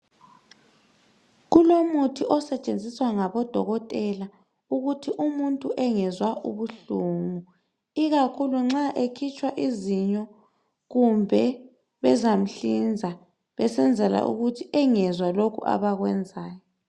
Kulomuthi osetshenziswa ngabodokotela ukuthi umuntu engezwa ubuhlungu, ikakhulu nxa ekhitshwa izinyo kumbe bezamhlinza, besenzela ukuthi engezwa lokho abakwenzayo.